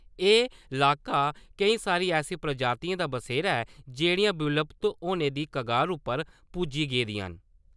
एह् इलाका, केईं सारी ऐसी प्रजातिएं दा बसेरा ऐ जेह्‌ड़ियां विलुप्त होने दी कगार उप्पर पुज्जी गेदिआं न ।